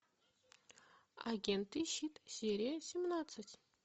агенты щит серия семнадцать